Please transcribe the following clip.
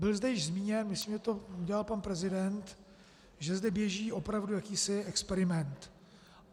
Bylo zde již zmíněno, myslím, že to udělal pan prezident, že zde běží opravdu jakýsi experiment.